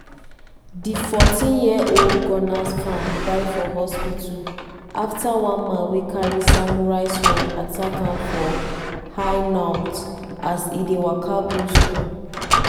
di 14-year-old gunners fan die for hospital afta one man wey carry samurai sword attack am for hainault as e dey waka go school.